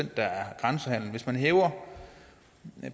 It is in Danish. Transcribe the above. der er grænsehandel hvis man hæver